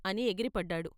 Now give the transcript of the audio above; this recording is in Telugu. " అని ఎగిరిపడ్డాడు.